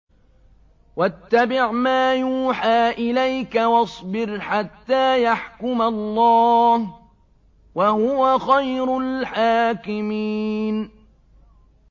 وَاتَّبِعْ مَا يُوحَىٰ إِلَيْكَ وَاصْبِرْ حَتَّىٰ يَحْكُمَ اللَّهُ ۚ وَهُوَ خَيْرُ الْحَاكِمِينَ